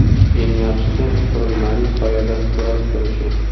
Eng yaxshisi, qurilmaning soyada biroz turishi.